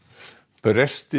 brestir